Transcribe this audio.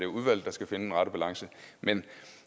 udvalget der skal finde den rette balance men